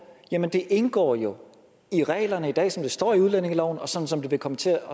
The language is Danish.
jamen det indgår jo i reglerne i dag sådan som det står i udlændingeloven og sådan som det vil komme til at